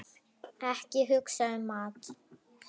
Ekki hugsa um mat!